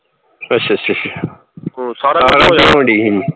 ਅੱਛਾ ਅੱਛਾ ਅੱਛਾ ਅੱਛਾ ਆਹੋ ਹੋ ਦਈ ਹੀ